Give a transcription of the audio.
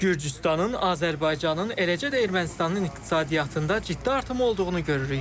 Gürcüstanın, Azərbaycanın, eləcə də Ermənistanın iqtisadiyyatında ciddi artım olduğunu görürük.